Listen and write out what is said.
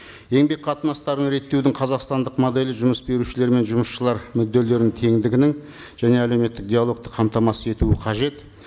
еңбек қатынастарын реттеудің қазақстандық моделі жұмыс берушілер мен жұмысшылар мүдделерін теңдігінің және әлеуметтік диалогты қамтамасыз етуі қажет